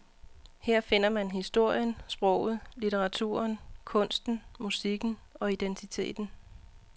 Her finder man historien, sproget, litteraturen, kunsten, musikken og identiteten.